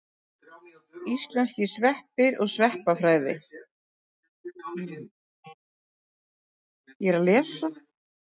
Íslenskir sveppir og sveppafræði.